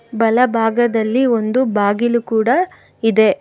ಬಲಭಾಗದಲ್ಲಿ ಒಂದು ಬಾಗಿಲು ಕೂಡ ಇದೆ.